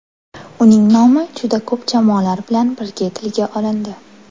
Uning nomi juda ko‘p jamoalar bilan birga tilga olindi.